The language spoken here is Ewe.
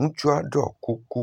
ŋutsua ɖɔ kuku.